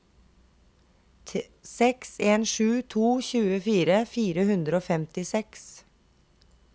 seks en sju to tjuefire fire hundre og femtiseks